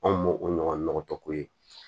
Anw m'o o ɲɔgɔn tɔ ko ye